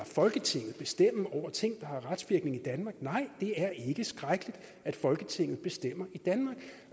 folketinget bestemme over ting der har retsvirkning i danmark nej det er ikke skrækkeligt at folketinget bestemmer i danmark